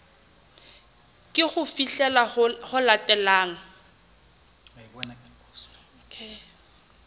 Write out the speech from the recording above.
ke ho fihlela ho latelang